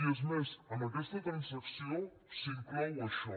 i és més en aquesta transacció s’inclou això